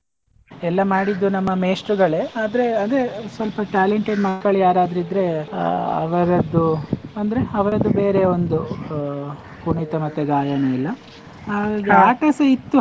ಎಲ್ಲ ಮಾಡಿದ್ದು ನಮ್ಮ ಮೇಷ್ಟ್ರುಗಳೇ ಆದ್ರೆ ಅದೇ ಸ್ವಲ್ಪ talented ಮಕ್ಕಳು ಯಾರಾದ್ರೂ ಇದ್ರೆ ಅಹ್ ಅವರದ್ದು, ಅಂದ್ರೆ ಅವರದ್ದು ಬೇರೆ ಒಂದು, ಕುಣಿತ ಮತ್ತೆ ಗಾಯನ ಎಲ್ಲಾ, ಇತ್ತು.